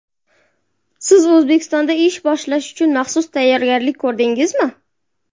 Siz O‘zbekistonda ish boshlash uchun maxsus tayyorgarlik ko‘rdingizmi?